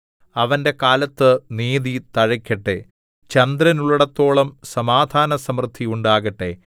അവന്റെ കാലത്ത് നീതി തഴയ്ക്കട്ടെ ചന്ദ്രനുള്ളേടത്തോളം സമാധാനസമൃദ്ധി ഉണ്ടാകട്ടെ